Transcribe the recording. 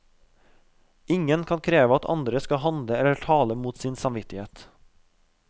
Ingen kan kreve at andre skal handle eller tale mot sin samvittighet.